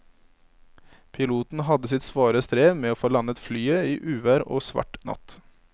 Piloten hadde sitt svare strev med å få landet flyet i uvær og svart natt.